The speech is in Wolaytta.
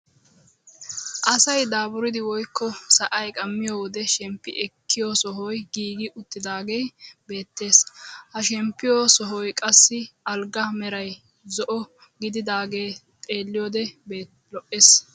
Asay dapuridi woykko sa'ay qammiyoo wode shemppi ekkiyoo sohoy giigi uttidaagee beettees. ha shemppiyoo sohoy qassi alggaa meray zo'o gididaagee xeelliyoode lo"ees.